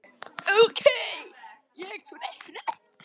Ók ég svona hratt?